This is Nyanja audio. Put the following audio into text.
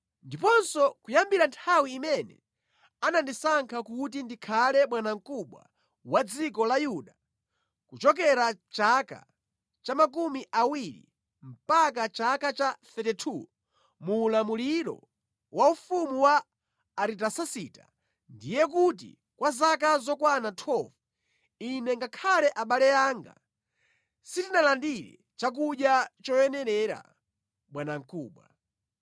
Ndiponso kuyambira nthawi imene anandisankha kuti ndikhale bwanamkubwa wa dziko la Yuda, kuchokera chaka cha makumi awiri mpaka chaka cha 32 muulamuliro wa ufumu wa Aritasasita, ndiye kuti kwa zaka zokwana 12, ine ngakhale abale anga sitinalandire chakudya choyenerera bwanamkubwa.